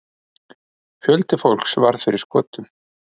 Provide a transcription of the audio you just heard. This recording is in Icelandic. Fjöldi fólks varð fyrir skotum.